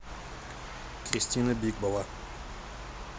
кристина бикбова